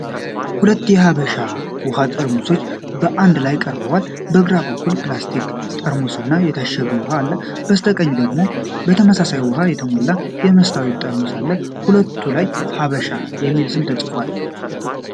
ሁለት የሀበሻ ውሃ ጠርሙሶች በአንድ ላይ ቀርበዋል። በግራ በኩል በፕላስቲክ ጠርሙስ ውስጥ የታሸገ ውሃ አለ። በስተቀኝ ደግሞ በተመሳሳይ ውሃ የተሞላ የመስታወት ጠርሙስ አለ። በሁለቱም ላይ “ሀበሻ” የሚል ስም ተጽፏል።